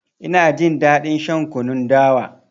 Ina jin daɗin shan kunun dawa.